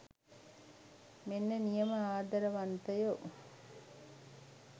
මෙන්න නියම ආදරවන්තයෝ.